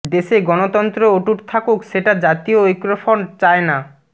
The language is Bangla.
দেশে গণতন্ত্র অটুট থাকুক সেটা জাতীয় ঐক্যফ্রন্ট চায় না